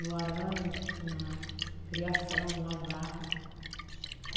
No arame, na criação, a vaca.